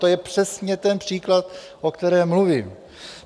To je přesně ten příklad, o kterém mluvím.